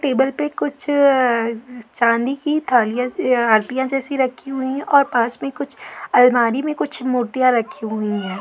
Table पे कुछ चांदी की थालिया आरतियाँ जैसी रखी हुई है और पास में कुछ आलमारी में कुछ मूर्तियाँ रखी हुई हैं।